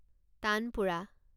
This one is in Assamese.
তানপুৰা